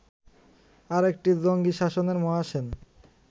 আরেকটি জঙ্গি শাসনের 'মহাসেন'